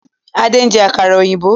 Ade n jẹ àkàrà òyìnbó